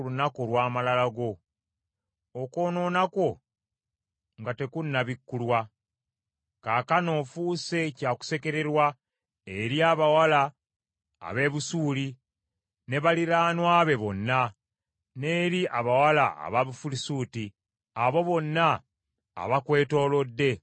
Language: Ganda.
okwonoona kwo nga tekunnabikkulwa? Kaakano ofuuse kyakusekererwa eri abawala ab’e Busuuli ne baliraanwa be bonna, n’eri abawala aba Bufirisuuti, abo bonna abakwetoolodde abakunyooma.